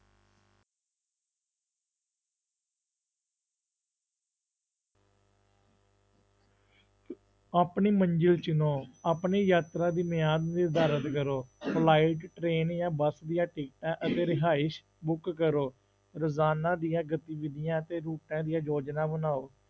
ਆਪਣੀ ਮੰਜ਼ਿਲ ਚੁਣੋ, ਆਪਣੀ ਯਾਤਰਾ ਦੀ ਮਿਆਦ ਨੂੰ ਦਰਜ਼ ਕਰੋ flight train ਜਾਂ ਬਸ ਦੀਆਂ ਟਿਕਟਾਂ ਅਤੇ ਰਿਹਾਇਸ book ਕਰੋ, ਰੋਜ਼ਾਨਾ ਦੀਆਂ ਗਤੀਵਿਧੀਆ ਅਤੇ ਰੂਟਾਂ ਦੀਆਂ ਯੋਜਨਾ ਬਣਾਓ।